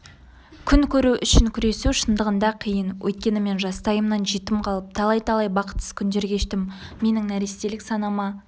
күн көру үшін күресу шындығында қиын өйткені мен жастайымнан жетім қалып талай-талай бақытсыз күндер кештім менің нәрестелік санама